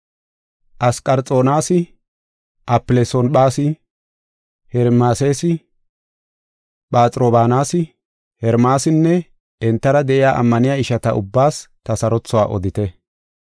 Asqarixoonas, Afilesonphas, Hermeesas, Phaxrobaanas, Hermaasinne entara de7iya ammaniya ishata ubbaas ta sarothuwa odite.